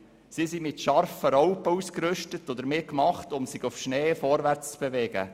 Sie sind mit scharfen Raupen ausgerüstet, die dafür gemacht sind, sich auf Schnee vorwärts zu bewegen.